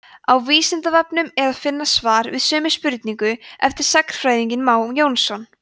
á vísindavefnum er að finna svar við sömu spurningu eftir sagnfræðinginn má jónsson